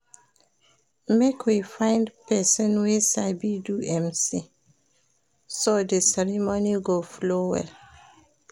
Make we find pesin wey sabi do MC, so di ceremony go flow well.